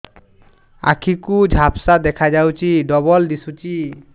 ଆଖି କୁ ଝାପ୍ସା ଦେଖାଯାଉଛି ଡବଳ ଦିଶୁଚି